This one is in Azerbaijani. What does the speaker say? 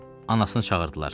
Anasını çağırdılar.